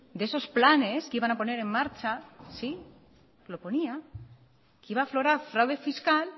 de esos planes que iban a poner en marcha sí lo ponía que iba a aflorar fraude fiscal